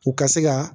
U ka se ka